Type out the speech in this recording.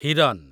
ହିରନ୍